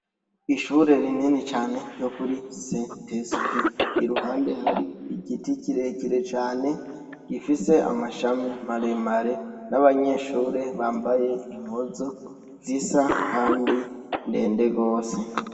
Ishure rinini cane ryokuri saint esprit iruhande hari igiti kirekire cane gifise amashami maremare nabanyeshure bambaye impuzu zisa kandi ndende gose